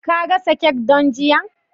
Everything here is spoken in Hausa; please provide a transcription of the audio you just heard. Ka gasa kek don jiya?